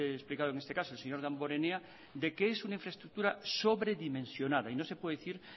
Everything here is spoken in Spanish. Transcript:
he explicado en este caso señor damborenea de que es una infraestructura sobredimensionada y no se puede decir